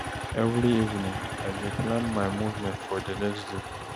Every evening, I dey plan my movement for di next day.